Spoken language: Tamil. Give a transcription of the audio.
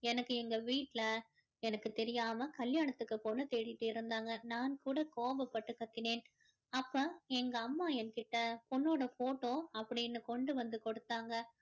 எனக்கு எங்க வீட்டுல எனக்கு தெரியாம கல்யாணத்துக்கு பொண்ணு தேடிட்டு இருந்தாங்க நான் கூட கோபப்பட்டு கத்தினேன் அப்போ எங்க அம்மா என்கிட்ட பொண்ணோட photo அப்படின்னு கொண்டு வந்து கொடுத்தாங்க